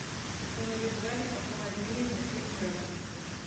установи в зале похолоднее на семь градусов